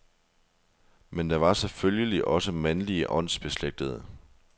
Men der var selvfølgelig også mandlige åndsbeslægtede.